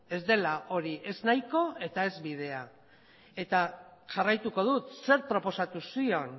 ez dela hori ez nahiko eta ez bidea eta jarraituko dut zer proposatu zion